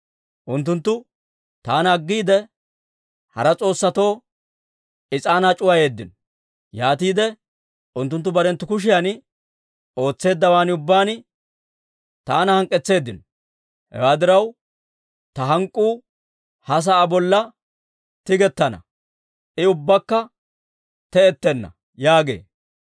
Unttunttu taana aggiide, hara s'oossatoo is'aanaa c'uwayeeddino; yaatiide unttunttu barenttu kushiyan ootseeddawaan ubbaan taana hank'k'etseeddino. Hewaa diraw, ta hank'k'uu ha sa'aa bolla tigettana; I ubbakka te'ettenna› yaagee.